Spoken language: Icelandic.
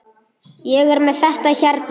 Ég er með þetta hérna.